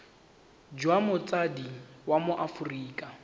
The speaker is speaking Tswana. jwa motsadi wa mo aforika